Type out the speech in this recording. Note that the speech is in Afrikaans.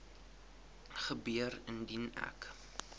gebeur indien ek